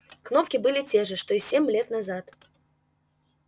кнопки были те же что и семь лет назад